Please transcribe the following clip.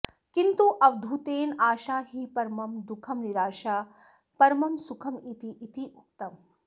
किन्तु अवधूतेन आशा हि परमं दुःखं निराशा परमं सुखमिति इति उक्तम्